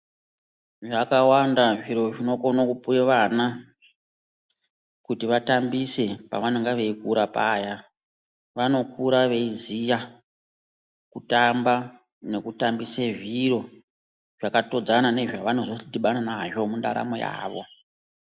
Zvakawanda zviro zvinokone kupuwe vana kuti vatambise pavanonga veikura paya vanokura veiziya kutamba nekutambise zviro zvakatodzana nezvavanozodhibana nazvo mundaramo yavo